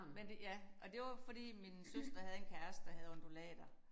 Men det ja og det var fordi min søster havde en kæreste der havde undulater